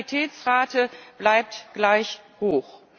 Die Mortalitätsrate bleibt gleich hoch.